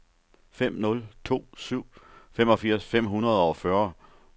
fem nul to syv femogfirs fem hundrede og fyrre